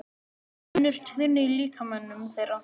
Það er bara önnur tíðni í líkamanum þeirra.